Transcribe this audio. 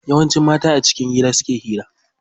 Yawanci mata a cikin gida suke hira.